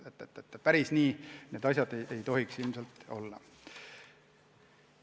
Päris nii need asjad ei tohiks ilmselt käia.